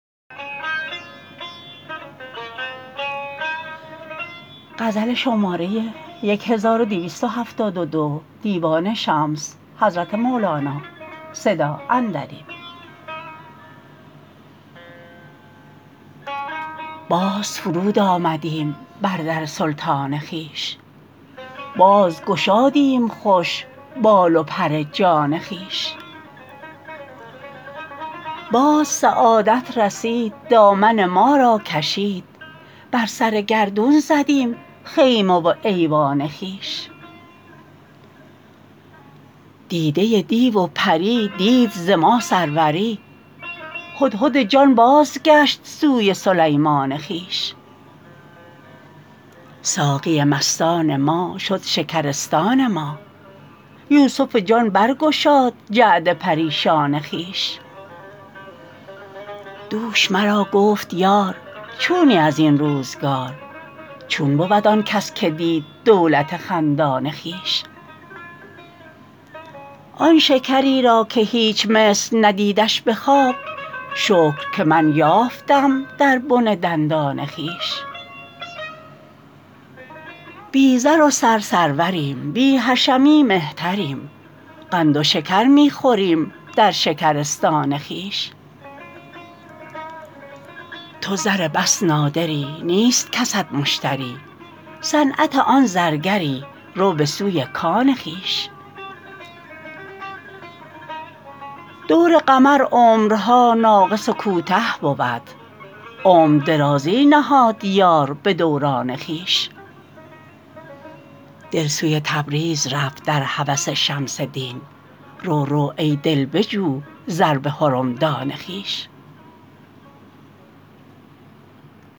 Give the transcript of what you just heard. باز فرود آمدیم بر در سلطان خویش بازگشادیم خوش بال و پر جان خویش باز سعادت رسید دامن ما را کشید بر سر گردون زدیم خیمه و ایوان خویش دیده دیو و پری دید ز ما سروری هدهد جان بازگشت سوی سلیمان خویش ساقی مستان ما شد شکرستان ما یوسف جان برگشاد جعد پریشان خویش دوش مرا گفت یار چونی از این روزگار چون بود آن کس که دید دولت خندان خویش آن شکری را که هیچ مصر ندیدش به خواب شکر که من یافتم در بن دندان خویش بی زر و سر سروریم بی حشمی مهتریم قند و شکر می خوریم در شکرستان خویش تو زر بس نادری نیست کست مشتری صنعت آن زرگری رو به سوی کان خویش دور قمر عمرها ناقص و کوته بود عمر درازی نهاد یار به دوران خویش دل سوی تبریز رفت در هوس شمس دین رو رو ای دل بجو زر به حرمدان خویش